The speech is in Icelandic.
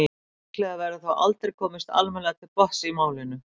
líklega verður þó aldrei komist almennilega til botns í málinu